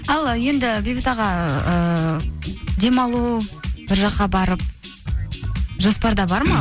ал енді бейбіт аға ііі демалу бір жаққа барып жоспарда бар ма